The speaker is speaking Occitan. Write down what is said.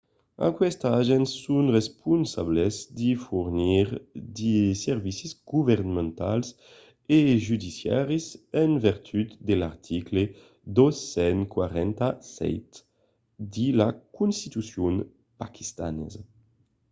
aquestes agents son responsables de fornir de servicis governamentals e judiciaris en vertut de l'article 247 de la constitucion paquistanesa